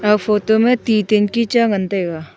aga photo ma ti tangki cha ngan tega.